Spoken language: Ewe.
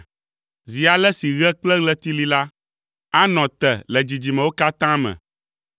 Zi ale si ɣe kple ɣleti li la, anɔ te le dzidzimewo katã me.